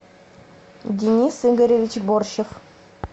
денис игоревич борщев